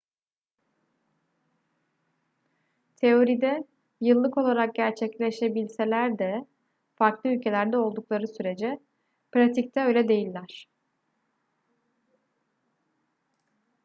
teoride yıllık olarak gerçekleşebilseler de farklı ülkelerde oldukları sürece pratikte öyle değiller